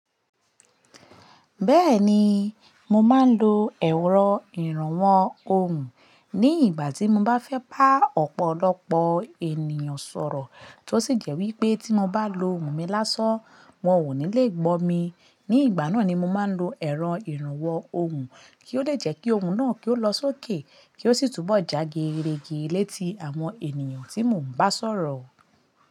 Bẹ́ẹ̀ni, mo máa ń lo ẹ̀rọ ìrànwọ́ ohùn ní ìgbà tí mo bá fẹ́ bá ọ̀pọ̀lọpọ̀ ènìyàn sọ̀rọ̀. Tó sì jẹ́ wí pé tí mo bá lo ohùn mi lásán, wọ́n ò ní le gbó mi, ní ìgbà náà ni mo máa ń lo ẹ̀rọ ìrànwọ́ ohùn kí ó lè jẹ́ kí ohùn náà kí ó lọ sókè kí ó sì túbọ̀ jágerege létí àwọn ènìyàn tí mò ń bá sọ̀rọ̀.